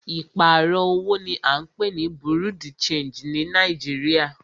Ìpààrọ̀ owó ní à ń pé ní Bureau de changii ní Nàìjíríà.